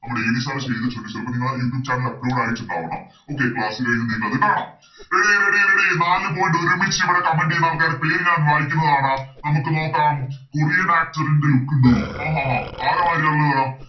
നമ്മുടെ AVSir ചെയ്തിട്ടുണ്ട് ചെലപ്പോ നിങ്ങള് Youtube channel ൽ Upload ആയിറ്റുണ്ടാവണം Okay class കഴിഞ്ഞ് നിങ്ങൾക്കത് കാണാം Ready ready eady നാല് Point ഒരുമിച്ച് ഇവിടെ Comment ചെയ്യുന്ന ആൾക്കാരെ പേര് ഞാൻ വായിക്കുന്നതാണ് നമുക്ക് നോക്കാം Korean actor ൻറെ Look ഉണ്ടോ അഹ് അഹ് അഹ് ആരെ മാരിയ ഇള്ളതെടാ